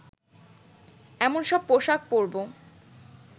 এমন সব পোশাক পরবো